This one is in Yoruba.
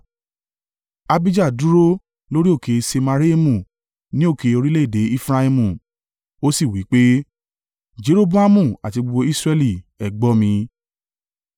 Abijah dúró lórí òkè Semaraimu ní òkè orílẹ̀-èdè Efraimu, ó sì wí pé, Jeroboamu àti gbogbo Israẹli, ẹ gbọ́ mi!